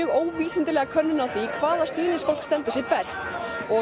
óvísindalega könnun á því hvaða stuðningsmenn standa sig best og